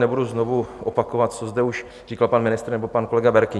Nebudu znovu opakovat, co zde už říkal pan ministr nebo pan kolega Berki.